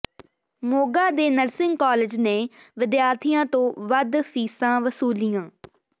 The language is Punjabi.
ਮੋਗਾ ਦੇ ਨਰਸਿੰਗ ਕਾਲਜ ਨੇ ਵਿਦਿਆਰਥੀਆਂ ਤੋਂ ਵੱਧ ਫ਼ੀਸਾਂ ਵਸੂਲੀਆਂ